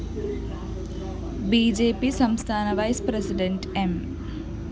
B J P സംസ്ഥാന vice president M